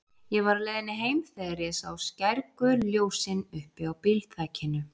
Ég var á leiðinni heim þegar ég sá skærgul ljósin uppi á bílþakinu.